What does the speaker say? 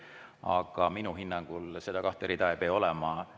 Aga minu hinnangul neid kahte rida ei pea seal olema.